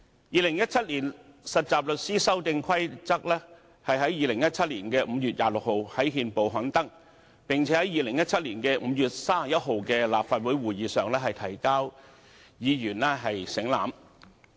《2017年實習律師規則》於2017年5月26日在憲報刊登，並於2017年5月31日的立法會會議上提交本會省覽。